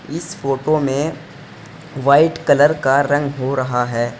इस फोटो में white colour का रंग हो रहा है।